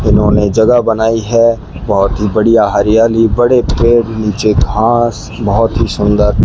उन्होंने जगह बनाई है बहोत ही बढ़िया हरियाली बड़े पेड़ नीचे घास बहोत ही सुंदर --